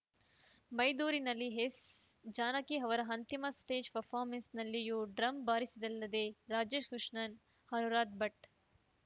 ಮೈದೂರಿನಲ್ಲಿ S Janaki ಅವರ ಅಂತಿಮ stage ಪರ್ಫಾಮೆನ್ಸ್‌ನಲ್ಲೊಯೂ ಡ್ರಮ್‌ ಬಾರಿಸಿದ್ದಲ್ಲದೆ ರಾಜೇಶ್‌ ಕೃಷ್ಣನ್‌ ಅನುರಾಧ ಭಟ್‌